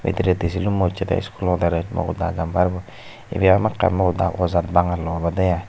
bidiredi silummo ucchede iskulo derech mogoda jamparbo ibey hamakai mogoda ojat bangalor obode aai.